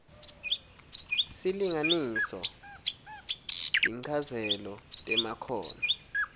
silinganiso tinchazelo temakhono